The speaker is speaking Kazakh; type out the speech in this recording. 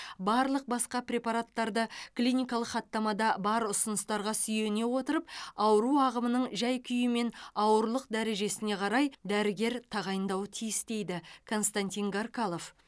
барлық басқа препараттарды клиникалық хаттамада бар ұсыныстарға сүйене отырып ауру ағымының жай күйі мен ауырлық дәрежесіне қарай дәрігер тағайындауы тиіс дейді константин гаркалов